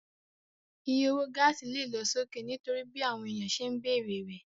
Iye owó gáàsì lè lọ sókè nítorí bí àwọn èèyàn ṣe ń bere rẹ̀